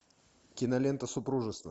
кинолента супружество